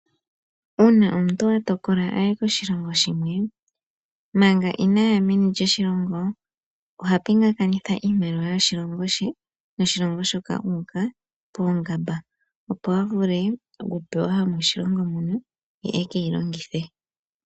Uuna omuntu atokola aye koshilongo shimwe, manga inaaya meni lyoshilongo, oha pingakanitha iimaliwa yoshilongo she noshilongo shoka u uka poongamba, opo a vule okupewa yomoshilongo mono, ye ekeyi longithe.